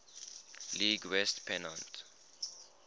league west pennant